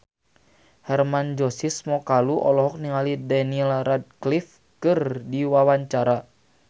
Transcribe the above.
Hermann Josis Mokalu olohok ningali Daniel Radcliffe keur diwawancara